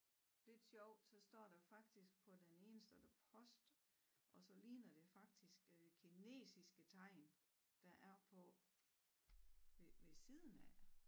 Lidt sjovt så står der faktisk på den ene står der post og så ligner det faktisk øh kinesiske tegn der er på ved ved siden af